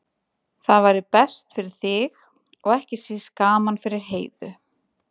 Það væri best fyrir þig og ekki síst gaman fyrir Heiðu.